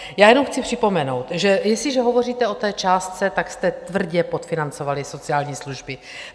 Já jenom chci připomenout, že jestliže hovoříte o té částce, tak jste tvrdě podfinancovali sociální služby.